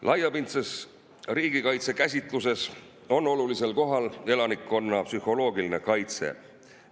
Laiapindse riigikaitse käsitluses on olulisel kohal elanikkonna psühholoogiline kaitse.